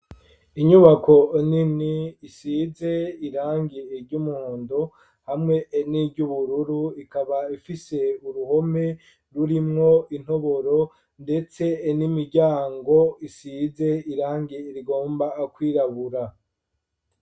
Inyubako nini isize irangi ry'umuhondo hamwe ni ry'ubururu ikaba ifise uruhome rurimwo intoboro ndetse n'imiryango isize irangi rigomba kwirabura.